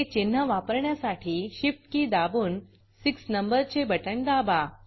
हे चिन्ह वापरण्यासाठी shift keyशिफ्ट की दाबून 6 नंबरचे बटण दाबा